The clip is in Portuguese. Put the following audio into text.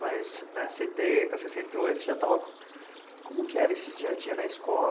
Mas né, setenta, sessenta e oito você já estava... Como que era esse dia a dia na escola?